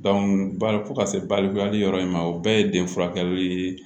bari fo ka se balikuyali yɔrɔ in ma o bɛɛ ye den furakɛli le ye